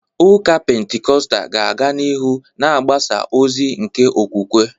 Ụka Pentikọstal ga-aga n’ihu na-agbasa ozi nke okwukwe.